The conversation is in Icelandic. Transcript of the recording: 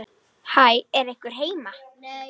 Hæ, er einhver heima?